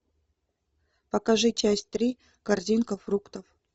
покажи часть три корзинка фруктов